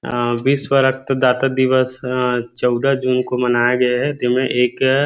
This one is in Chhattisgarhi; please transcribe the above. और विश्व रक्त डाता दिवस चौदह जून को मनाया गे हे दिन में एक